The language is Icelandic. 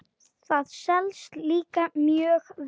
Það selst líka mjög vel.